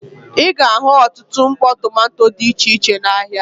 Ị ga-ahụ ọtụtụ mkpọ tomanto dị iche iche n'ahịa.